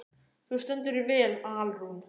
Þú stendur þig vel, Alrún!